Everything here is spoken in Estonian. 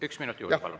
Üks minut juurde, palun.